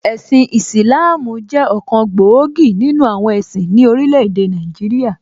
Ẹ̀sin Ìsìlááámù jẹ́ ọ̀kan gbòógì nìnu àwọn ẹ̀sìn ní orílẹ̀ èdè Nàìjíríà